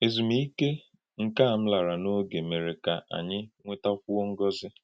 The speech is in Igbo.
Èzùmíkè nká m làrà n’ògé mere ka anyị nwètàkwúò ngọ́zi.